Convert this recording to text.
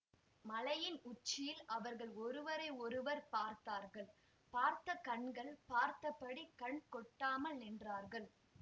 மலையின் உச்சியில் அவர்கள் ஒருவரையொருவர் பார்த்தார்கள் பார்த்த கண்கள் பார்த்தபடி கண் கொட்டாமல் நின்றார்கள்